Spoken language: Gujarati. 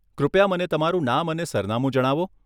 કૃપયા મને તમારું નામ અને સરનામું જણાવો.